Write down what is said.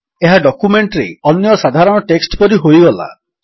ଏହା ଡକ୍ୟୁମେଣ୍ଟରେ ଅନ୍ୟ ସାଧାରଣ ଟେକ୍ସଟ୍ ପରି ହୋଇଗଲା